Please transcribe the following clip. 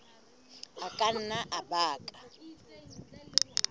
a ka nna a baka